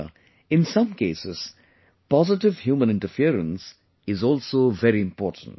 However, in some cases, positive human interference is also very important